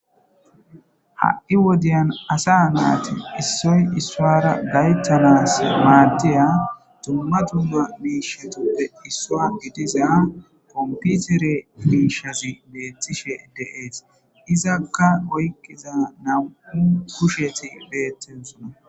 ha7i wodiyan asa naati issoy issoara gayttanas maaddeya dumma dumma miishatuppe issua idiza komputere miishazi beettishe deees izakka oyqqiza namu kusheti beettisuna